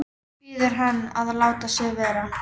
Biður hann að láta sig vera.